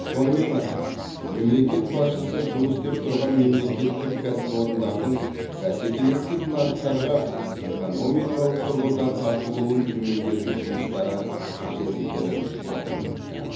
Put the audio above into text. сонымен қатар мемлекет басшысы жұмыс істеп тұрған мемлекеттік кәсіпорындардың бәсекелестік нарықтарға экономикалық тұрғыда тартылуын төмендету жұмыстары қажет екенін атап өтті